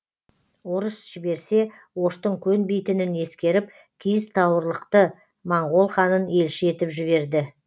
орыс жіберсе оштың көнбейтінін ескеріп киіз тауырлықты моңғол ханын елші етіп жіберді